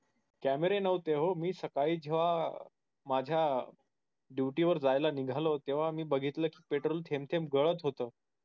camera नव्हते ओ मी सकाळी जेव्हा माझ्य duty वर जायला निघालो तेव्हा मी बघितले कि petrol थेंब थेंब गलत होत